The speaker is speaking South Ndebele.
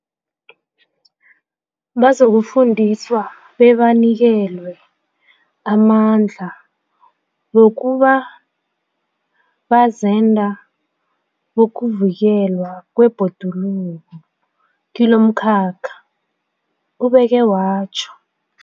Bazokufundiswa bebanikelwe amandla wokuba bazenda bokuvikelwa kwebhoduluko kilomkhakha, ubeke watjho.